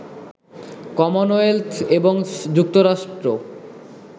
Commonwealth এবং যুক্তরাষ্ট্র